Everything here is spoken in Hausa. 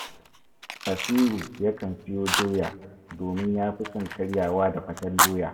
Basiru yakan siyo doya, domin ya fi son karyawa da faten doya